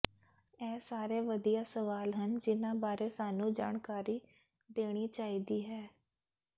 ਇਹ ਸਾਰੇ ਵਧੀਆ ਸਵਾਲ ਹਨ ਜਿਨ੍ਹਾਂ ਬਾਰੇ ਸਾਨੂੰ ਜਾਣਕਾਰੀ ਦੇਣੀ ਚਾਹੀਦੀ ਹੈ